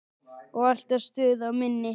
Og alltaf stuð á minni.